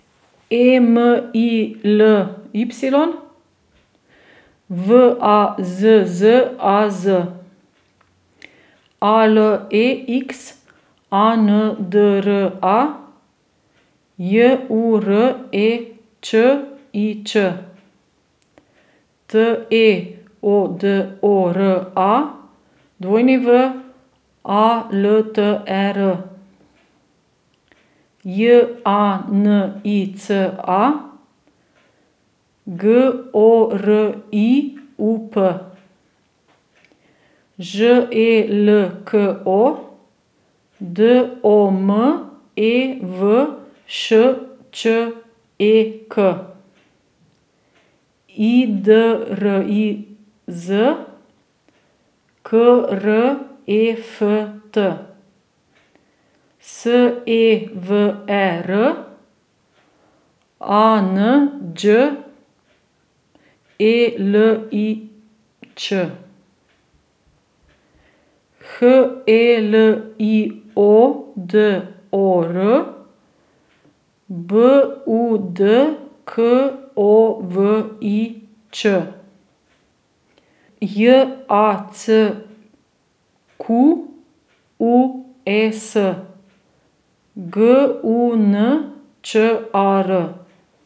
E M I L Y, V A Z Z A Z; A L E X A N D R A, J U R E Č I Č; T E O D O R A, W A L T E R; J A N I C A, G O R I U P; Ž E L K O, D O M E V Š Č E K; I D R I Z, K R E F T; S E V E R, A N Đ E L I Ć; H E L I O D O R, B U D K O V I Č; J A C Q U E S, G U N Č A R.